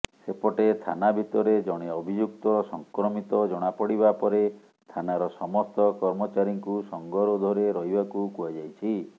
ସେପଟେ ଥାନା ଭିତରେ ଜଣେ ଅଭିଯୁକ୍ତ ସଂକ୍ରମିତ ଜଣାପଡିବା ପରେ ଥାନାର ସମସ୍ତ କର୍ମଚାରୀଙ୍କୁ ସଂଙ୍ଗରୋଧରେ ରହିବାକୁ କୁହାଯାଇଛି